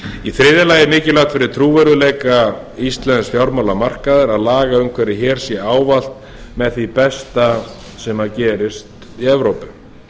í þriðja lagi er mikilvægt fyrir trúverðugleika íslensks fjármálamarkaðar að lagaumhverfi hér sé ávallt með því besta sem gerist í evrópu